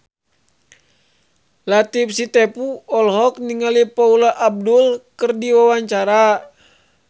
Latief Sitepu olohok ningali Paula Abdul keur diwawancara